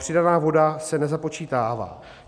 Přidaná voda se nezapočítává.